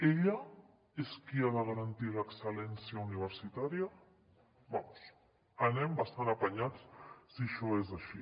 ella és qui ha de garantir l’excel·lència universitària vamos anem bastant apanyats si això és així